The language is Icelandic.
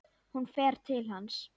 Hún fer til hans.